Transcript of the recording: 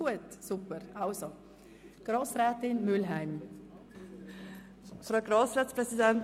Ich erteile Grossrätin Mühlheim das Wort.